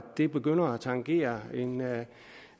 det begynder at tangere